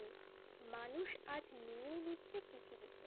মানুষ আজ নিয়ে নিচ্ছে পৃথিবীতে